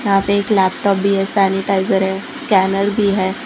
यहां पे एक लैपटॉप भी है सैनिटाइजर है स्कैनर भी है।